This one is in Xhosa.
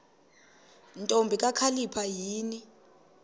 ntombi kakhalipha yini